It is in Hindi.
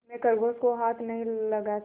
मैं खरगोशों को हाथ नहीं लगाता